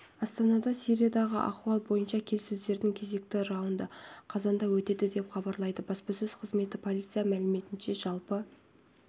астанада сириядағы ахуал бойынша келіссөздердің кезекті раунды қазанда өтеді деп хабарлайды баспасөз қызметі полиция мәліметінше жалпы